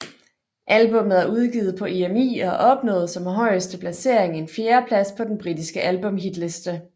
Albummet er udgivet på EMI og opnåede som højeste placering en fjerdeplads på den britiske albumhitliste